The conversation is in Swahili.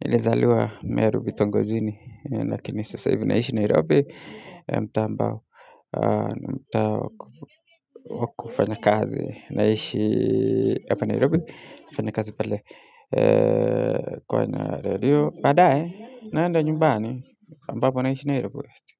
nilizaliwa meru bitongojini, lakini sasa hivi naishi Nairobi mtaa ambao wa kufanyakazi, naishi hapa Nairobi nafanyakazi pale kwenye radio baadae naenda nyumbani ambapo naishi nairobi.